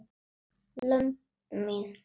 lömb mín.